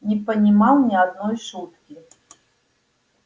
не понимал ни одной шутки